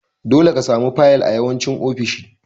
Dole ka samu fayil a yawancin ofisoshi.